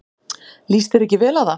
Líst þér ekki vel á það?